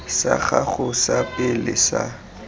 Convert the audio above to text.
sa gago sa pele sa